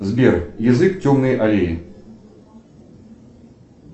сбер язык темной аллеи